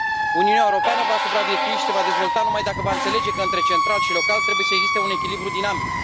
Uniunea Europeană va supraviețui și se va dezvolta numai dacă va înțelege că între central și local trebuie să existe un echilibru dinamic.